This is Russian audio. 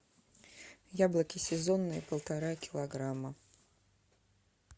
яблоки сезонные полтора килограмма